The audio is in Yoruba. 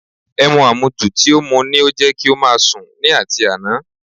Ẹmu àmujù tí ó mú ni ó jẹ́ kí ó máa sùn ni àti àná